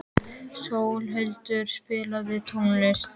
Sólhildur, spilaðu tónlist.